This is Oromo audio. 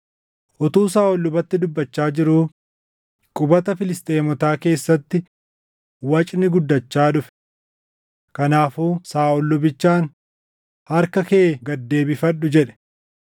Utuu Saaʼol lubatti dubbachaa jiruu qubata Filisxeemotaa keessatti wacni guddachaa dhufe. Kanaafuu Saaʼol lubichaan, “Harka kee gad deebifadhu” jedhe.